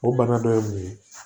O bana dɔ ye mun ye